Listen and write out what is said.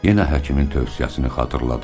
Yenə həkimin tövsiyəsini xatırladı.